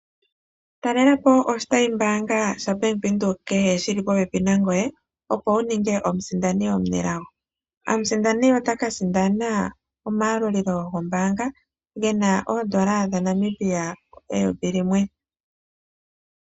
Ta lelapo oshitayi kehe shobank Windhoek shi li popepi nangoye, opo wu nunge omusindani omunelago. Omusindani otaka sindana omayalulilo gombaanga gena oondola dhaNamibia eyovi limwe.